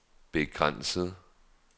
begrænset